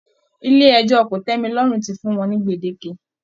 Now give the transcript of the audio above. Ilé ẹjọ́ kò-tẹ́-mi-lọ́rùn ti fún wọ́n ní gbèdéke